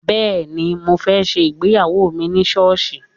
Bẹ́ẹ̀ni, mo fẹ́ ṣe ìgbéyawó mi ní sọ́ọ̀sì